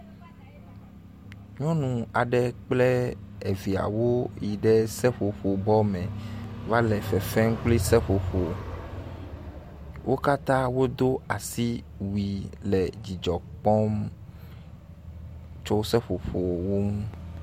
nyɔnu aɖe kple eviawo yiɖe seƒoƒo bɔ mɛ va le fefem kpli seƒoƒo wó katã wodó asiwui le dzidzɔkpɔm tso seƒoƒowo ŋu